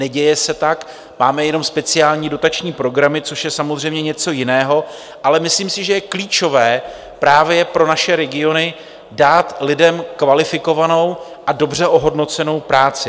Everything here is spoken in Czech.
Neděje se, tak máme jenom speciální dotační programy, což je samozřejmě něco jiného, ale myslím si, že je klíčové právě pro naše regiony dát lidem kvalifikovanou a dobře ohodnocenou práci.